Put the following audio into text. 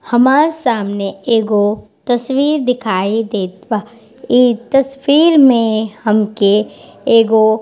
हमार सामने एगो तस्वीर दिखाई देत बा। इ तस्वीर में हमके एगो --